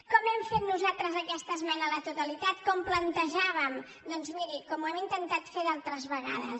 com hem fet nosaltres aquesta esmena a la totalitat com ho plantejàvem doncs miri com ho hem intentat fer d’altres vegades